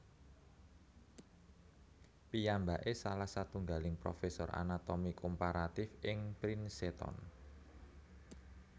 Piyambaké salah satunggaling profesor anatomi komparatif ing Princeton